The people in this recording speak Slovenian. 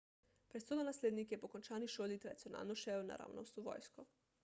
prestolonaslednik je po končani šoli tradicionalno šel naravnost v vojsko